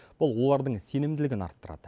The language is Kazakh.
бұл олардың сенімділігін арттырады